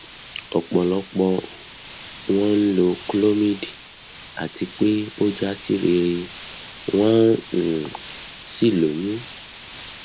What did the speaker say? ọpọlọpọ wọn ló ń lo clomid àti pé o ja si rere won um sí lóyún